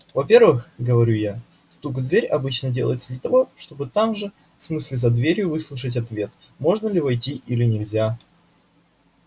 во-первых говорю я стук в дверь обычно делается для того чтобы там же в смысле за дверью выслушать ответ можно ли войти или нельзя